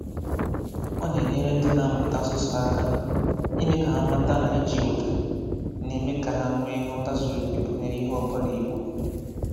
Ọ na-enyere ndị na-amụta asụsụ aka, ịme ka ha mata na iji ụdá na-eme ka ha nwéé nghọta zụrụ oké banyere ihe ọbụla ekwuru.